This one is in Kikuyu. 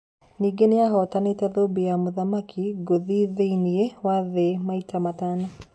Ningĩ nĩahotanĩte thũmbĩ ya mũthaki ngũthi thĩiniĩ wa thĩ maita matano